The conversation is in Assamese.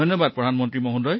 ধন্যবাদ প্ৰধানমন্ত্ৰী জী